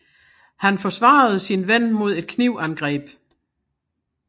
Han forsvarede sin ven mod et knivangreb